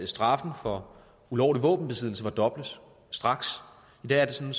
straffen for ulovlig våbenbesiddelse fordobles straks i dag er det sådan